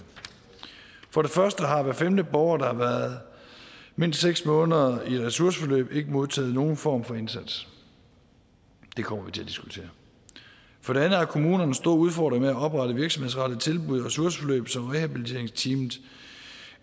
for det første har hver femte borger der har været mindst seks måneder i ressourceforløb ikke modtaget nogen form for indsats det kommer vi til at diskutere for det andet har kommunerne store udfordringer med at oprette virksomhedsrettede tilbud i ressourceforløb som rehabiliteringsteamet